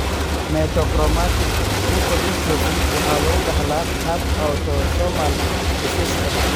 Metachromatic leukodystrophy waxaa lagu dhaxlaa hab autosomal recessive ah.